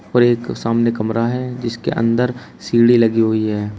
और एक सामने कमरा है जिसके अंदर सीढ़ी लगी हुई है।